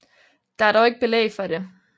Der er dog ikke belæg for det